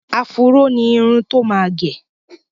Afúró ni irun tó máa gẹ.